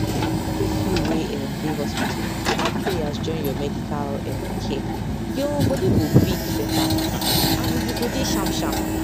if u wey um dey hospital add prayers join ur medical um care ur body go quick better um and u go dey sham sham